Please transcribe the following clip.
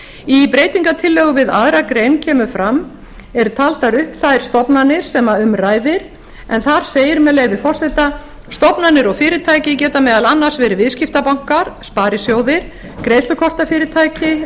í breytingartillögu við aðra grein eru taldar upp þær stofnanir sem um ræðir en þar segir með leyfi forseta stofnanir og fyrirtæki geta meðal annars verið viðskiptabankar sparisjóðir greiðslukortafyrirtæki